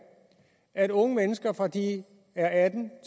at unge mennesker fra de er atten